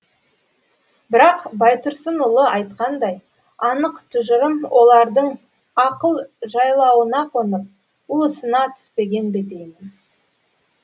бірақ байтұрсынұлы айтқандай анық тұжырым олардың ақыл жайлауына қонып уысына түспеген бе деймін